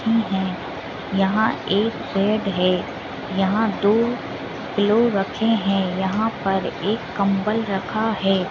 हम्म हम्म यहाँ एक बेड है यहाँ दो पिलो रखे हैं यहाँ पर एक कम्बल रखा है।